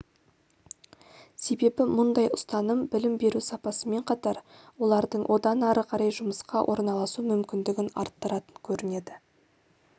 себебі мұндай ұстаным білім беру сапасымен қатар олардың одан ары қарай жұмысқа орналасу мүмкіндігін арттыратын көрінеді